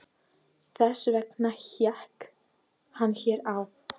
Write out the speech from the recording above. Þess vegna hékk hann hér hjá